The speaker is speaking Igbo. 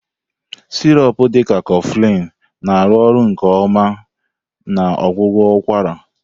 Sirop dị ka Coflin na-arụ ọrụ nke ọma na ọgwụgwọ ụkwara.